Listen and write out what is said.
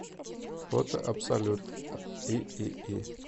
фото абсолют иии